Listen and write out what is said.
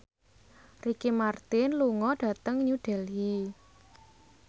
Ricky Martin lunga dhateng New Delhi